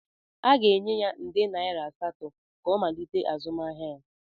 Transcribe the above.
Aga-enye ya nde naira asatọ ka ọ malite azụmahịa ya.